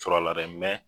Sɔrɔla dɛ